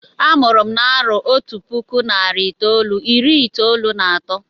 Amụrụ m na-arọ Otú puku narị itolu irí itolu na atọ.